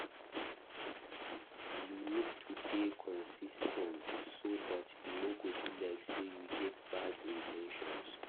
You need to dey consis ten t so dat e no go be like sey you get bad in ten tions